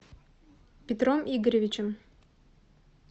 петром игоревичем